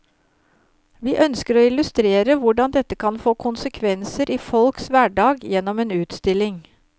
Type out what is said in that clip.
Vi ønsker å illustrere hvordan dette kan få konsekvenser i folks hverdag gjennom en utstilling.